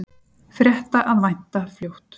Frétta að vænta fljótt